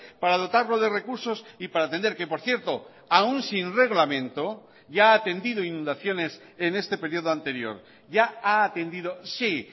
para dotarlo de recursos y para atender que por cierto aún sin reglamento ya ha atendido inundaciones en este periodo anterior ya ha atendido sí